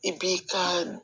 I b'i ka